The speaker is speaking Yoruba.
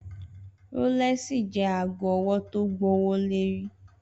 Rólèsí jè àgó òwò tó gbówólérí